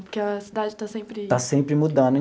Porque a cidade está sempre... Está sempre mudando.